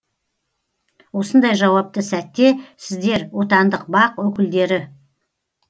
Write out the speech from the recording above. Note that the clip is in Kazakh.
осындай жауапты сәтте сіздер отандық бақ өкілдері